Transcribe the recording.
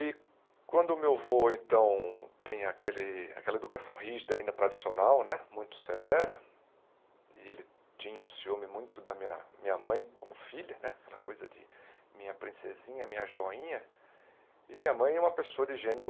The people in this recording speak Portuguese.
E quando meu avô então tem aquele aquela educação rígida, ainda tradicional né, muito severa, e ele tinha um ciúme muito da minha minha mãe como filha né, aquela coisa de minha princesinha, minha joinha, e minha mãe é uma pessoa de gênio